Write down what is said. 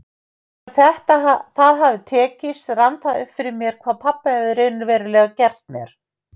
Þegar það hafði tekist rann það upp fyrir mér hvað pabbi hafði raunverulega gert mér.